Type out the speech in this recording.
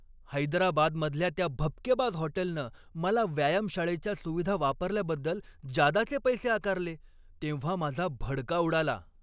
हैदराबादमधल्या त्या भपकेबाज हॉटेलनं मला व्यायामशाळेच्या सुविधा वापरल्याबद्दल जादाचे पैसे आकारले तेव्हा माझा भडका उडाला.